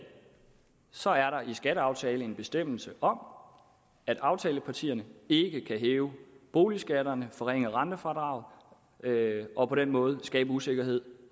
så er der i skatteaftalen en bestemmelse om at aftalepartierne ikke kan hæve boligskatterne og forringe rentefradraget og på den måde skabe usikkerhed